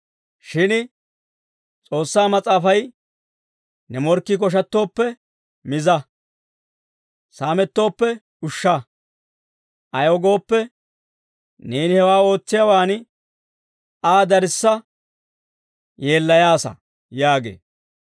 Shin S'oossaa Mas'aafay, «Ne morkkii koshattooppe, miza. Saamettooppe, ushsha. Ayaw gooppe, neeni hewaa ootsiyaawaan, Aa darissa yeellayaasa» yaagee.